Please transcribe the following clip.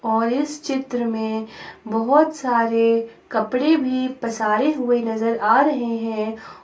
और इस चित्र में बहुत सारे कपडे भी पसारे हुए नजर आ रहे हैं।